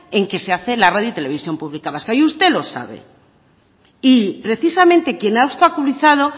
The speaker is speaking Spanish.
en que se hace la radio y televisión pública vasca y usted lo sabe y precisamente quien ha obstaculizado